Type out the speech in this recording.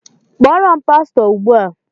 Kpọọrọ m pastọ Ugbu a!